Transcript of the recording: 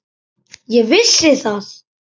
Ég vissi það.